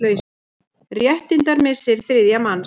Réttindamissir þriðja manns.